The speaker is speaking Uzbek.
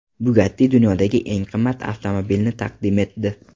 Bugatti dunyodagi eng qimmat avtomobilni taqdim etdi.